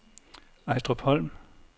Ejstrupholm